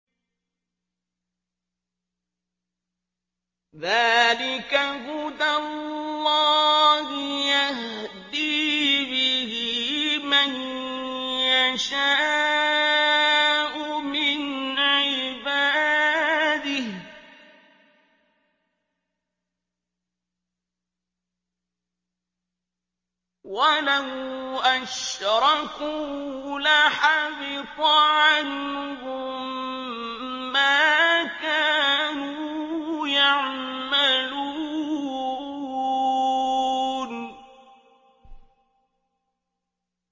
ذَٰلِكَ هُدَى اللَّهِ يَهْدِي بِهِ مَن يَشَاءُ مِنْ عِبَادِهِ ۚ وَلَوْ أَشْرَكُوا لَحَبِطَ عَنْهُم مَّا كَانُوا يَعْمَلُونَ